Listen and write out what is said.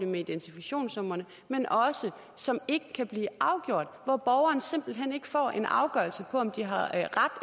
med identifikationsnumrene men også som ikke kan blive afgjort hvor borgeren simpelt hen ikke får en afgørelse på om de har ret